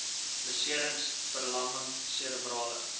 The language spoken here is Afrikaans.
beserings verlamming serebrale